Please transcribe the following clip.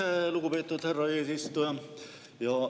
Aitäh, lugupeetud härra eesistuja!